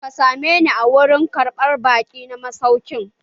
Ka same ni a wurin karɓan baƙi na masaukin!